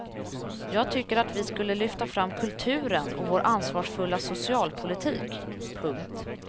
Jag tycker att vi skulle lyfta fram kulturen och vår ansvarsfulla socialpolitik. punkt